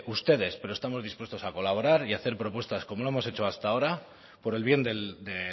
ustedes pero estamos dispuestos a colaborar y a hacer propuestas como lo hemos hecho hasta ahora por el bien de